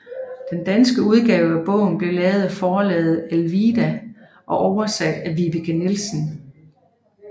Den danske udgave af bogen blev lavet af forlaget Alvilda og oversat af Vibeke Nielsen